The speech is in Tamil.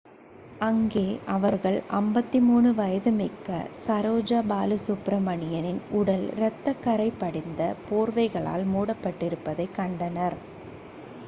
அங்கே அவர்கள் 53 வயதுமிக்க சரோஜா பாலசுப்பிரமணியனின் உடல் இரத்தக் கரை படிந்த போர்வைகளால் மூடபட்டிருப்பதை கண்டனர்